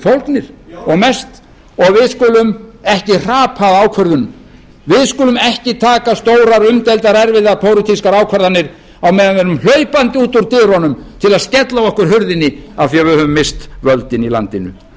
fólgnir og við skulum ekki hrapa að ákvörðun við skulum ekki taka stórar umdeildar erfiðar pólitískar ákvarðanir á meðan við erum hlaupandi út úr dyrunum til að skella á okkur hurðinni af því að við höfum misst völdin í landinu